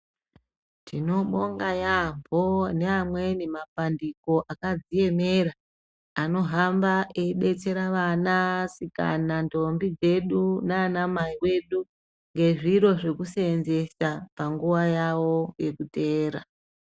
Tinobonga yambo neamweni mapandiko akazviemera anohamba eidetsera vanasikana ndombie dzedu nana mai vedu ngezviro zvekusenzesa panguwa yawo yekutevera.